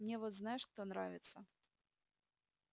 мне вот знаешь кто нравится